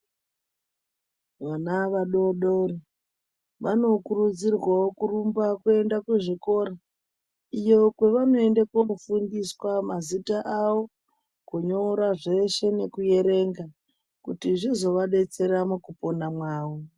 Vana vadodori vanokurudzirwawo kurumba kuenda kuzvikora ,iyo kwavanoende kofundiswa mazita avo kunyora zveshe nekuyerenga kuti zvizovadetsera mukupona mwavo.